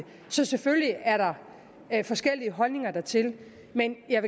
så selvfølgelig er der forskellige holdninger til det men jeg